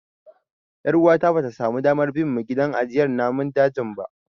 Ƴar uwata bata samu damar bin mu gidan ajiyar namun dajin ba jiya.